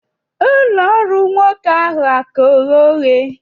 ụlọ ọrụ nwoke ahụ a-ka ghe oghe?